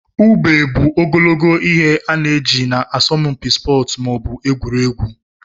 Ube bụ ogologo ihe ana eji na asọmpi sportu maọbu egwuregwu.